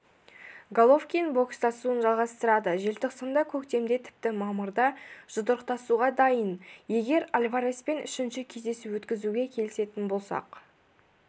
головкин бокстасуын жалғастырады желтоқсанда көктемде тіпті мамырда жұдырықтасуға дайын егер альвареспен үшінші кездесу өткізуге келісетін болсақ